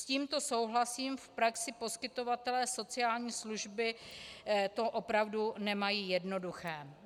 S tímto souhlasím, v praxi poskytovatelé sociální služby to opravdu nemají jednoduché.